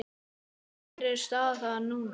En hver er staðan núna?